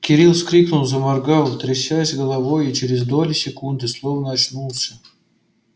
кирилл вскрикнул заморгал трясясь головой и через доли секунды словно очнулся